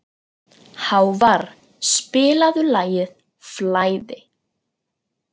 Hávarr, spilaðu lagið „Flæði“.